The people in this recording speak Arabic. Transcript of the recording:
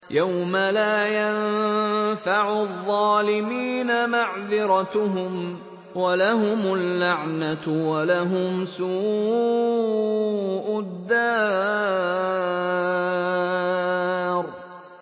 يَوْمَ لَا يَنفَعُ الظَّالِمِينَ مَعْذِرَتُهُمْ ۖ وَلَهُمُ اللَّعْنَةُ وَلَهُمْ سُوءُ الدَّارِ